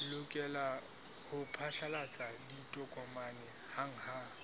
lokela ho phatlalatsa ditokomane hanghang